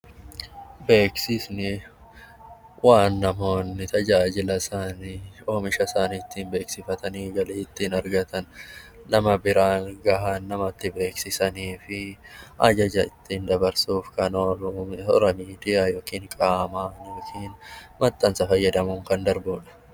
Beeksisni waan namoonni tajaajila isaanii, oomishasaanii ittiin beeksifatanii galii ittiin argatan, nama biraan gahan, namatti beeksisanii fi ajaja ittiin dabarsuuf kan oolani. Miidiyaa yookaan immoo qaama yookiin maxxansa fayyadamuun kan darbudha .